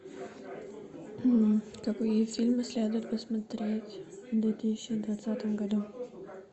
какие фильмы следует посмотреть в две тысячи двадцатом году